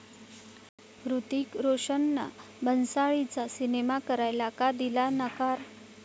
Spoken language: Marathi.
हृतिक रोशननं भन्साळींचा सिनेमा करायला का दिला नकार?